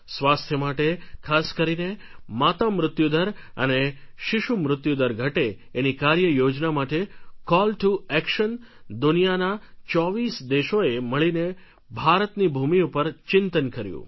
સ્વાસ્થ્ય માટે ખાસ કરીને માતામૃત્યુદર અને શિશુમૃત્યુદર ઘટે એની કાર્યયોજના માટે કૉલટુએક્શન દુનિયાના ચોવીસ દેશોએ મળીને ભારતની ભૂમિ ઉપર ચિંતન કર્યું